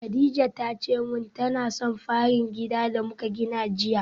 Kadija tace min tana son farar gidan da muka gani jiya